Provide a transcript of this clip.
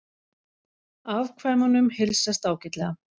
Afkvæmunum heilsast ágætlega